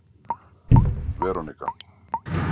Veronika